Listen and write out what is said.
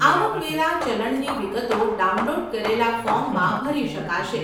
આવક વેરા ચલણની વિગતો ડાઉનલોડ કરેલાં ફોર્મમાં ભરી શકાશે.